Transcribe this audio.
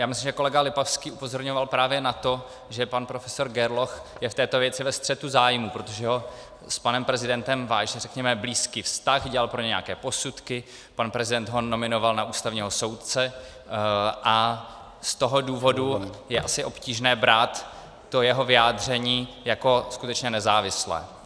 Já myslím, že kolega Lipavský upozorňoval právě na to, že pan profesor Gerloch je v této věci ve střetu zájmů, protože ho s panem prezidentem váže řekněme blízký vztah, dělal pro něj nějaké posudky, pan prezident ho nominoval na ústavního soudce a z toho důvodu je asi obtížné brát to jeho vyjádření jako skutečně nezávislé.